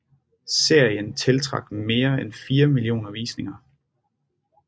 Serien tiltrak mere end fire millioner visninger